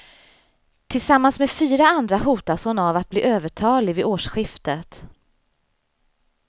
Tillsammans med fyra andra hotas hon av att bli övertalig vid årsskiftet.